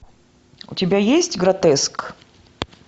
у тебя есть гротеск